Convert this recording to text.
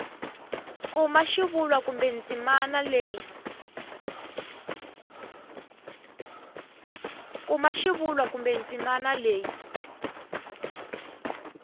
kuma xivulwa kumbe ndzimana leyi